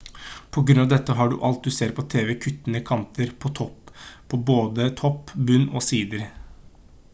på grunn av dette har alt du ser på tv-en kuttede kanter på både topp bunn og sider